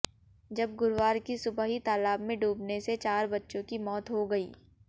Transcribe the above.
जब गुरुवार की सुबह ही तालाब में डूबने से चार बच्चों की मौत हो गई